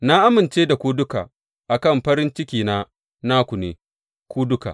Na amince da ku duka a kan farin cikina naku ne ku duka.